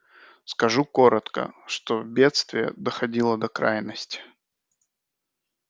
скажу коротко что бедствие доходило до крайности